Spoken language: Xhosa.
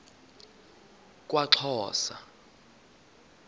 kwaxhosa